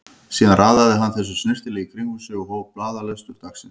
Síðan raðaði hann þessu snyrtilega í kring um sig og hóf blaðalestur dagsins.